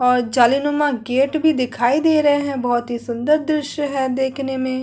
और जालीनुमा गेट भी दिखाई दे रहे हैं बहुत ही सुंदर दृश्य है देखने में --